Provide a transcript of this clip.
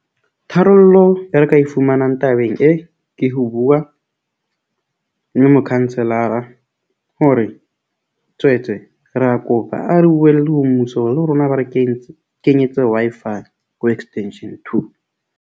Tharollo e re ka e fumanang tabeng e ke ho bua le mokhanselara hore tswetswe ra kopa a re buelle ho mmuso le rona ba re kentse kenyetse Wi-Fi ho extension two.